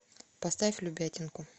поставь любятинку